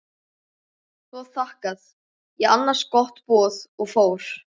Svo þakkaði ég annars gott boð og fór.